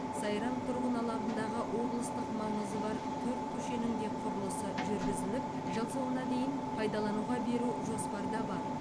сайрам тұрғын алабындағы облыстық маңызы бар төрт көшенің де құрылысы жүргізіліп жыл соңына дейін пайдалануға беру жоспарда бар